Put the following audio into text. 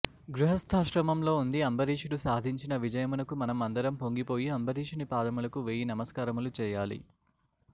గృహస్థాశ్రమంలో ఉంది అంబరీషుడు సాధించిన విజయమునకు మనం అందరం పొంగిపోయి అంబరీషుని పాదములకు వేయి నమస్కారములు చేయాలి